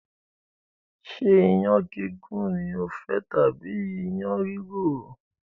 Ṣé iyán gígún lofẹ́ tàbí iyán rìrò?